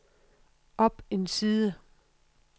op en side